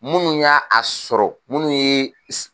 Minnu y'a a sɔrɔ munnu ye